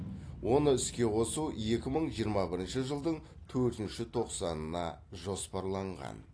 оны іске қосу екі мың жиырма бірінші жылдың төртінші тоқсанына жоспарланған